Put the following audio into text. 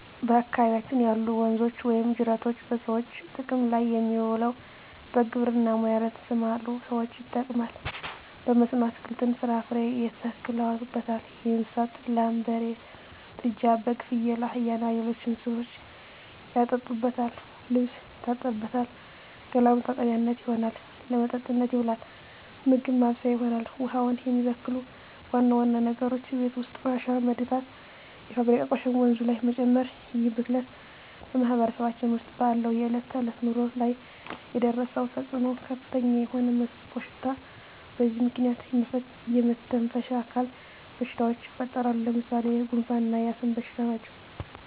በአካባቢያችን ያሉ ወንዞች ወይም ጅረቶች በሰዎች ጥቅም ላይ የሚውለው በግብርና ሙያ ለተሠማሩ ሠዎች ይጠቅማል። በመስኖ አትክልትን፣ ፍራፍሬ ያተክሉበታል። ለእንስሳት ላም፣ በሬ፣ ጥጃ፣ በግ፣ ፍየል፣ አህያ እና ሌሎች እንስሶችን ያጠጡበታል፣ ልብስ ይታጠብበታል፣ ገላ መታጠቢያነት ይሆናል። ለመጠጥነት ይውላል፣ ምግብ ማብሠያ ይሆናል። ውሃውን የሚበክሉ ዋና ዋና ነገሮች የቤት ውስጥ ቆሻሻ መድፋት፣ የፋብሪካ ቆሻሾችን ወንዙ ጋር መጨመር ይህ ብክለት በማህበረሰባችን ውስጥ ባለው የዕለት ተዕለት ኑሮ ላይ ያደረሰው ተፅኖ ከፍተኛ የሆነ መጥፎሽታ በዚህ ምክንያት የመተነፈሻ አካል በሽታዎች ይፈጠራሉ። ለምሣሌ፦ ጉንፋ እና የአስም በሽታ ናቸው።